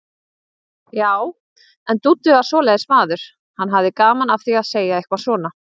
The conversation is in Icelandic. Já, en Dúddi var svoleiðis maður, hann hafði gaman af því að segja eitthvað svona.